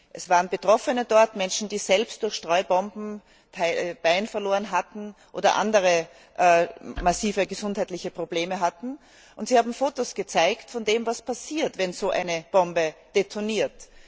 Es waren Betroffene dort, Menschen, die selbst durch Streubomben ein Bein verloren hatten oder andere massive gesundheitliche Probleme hatten, und sie haben uns Photos gezeigt von dem, was passiert, wenn so eine Bombe detoniert.